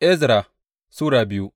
Ezra Sura biyu